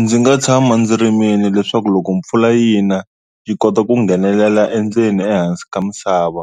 Ndzi nga tshama ndzi rimile leswaku loko mpfula yi na yi kota ku nghenelela endzeni ehansi ka misava,